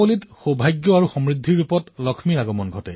উকীল হিচাপে কাৰোবাক ন্যায় প্ৰদানত ব্যস্ত হৈ আছে